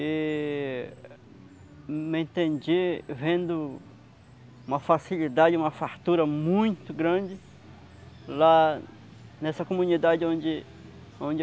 E me entendi vendo uma facilidade, uma fartura muito grande lá nessa comunidade onde onde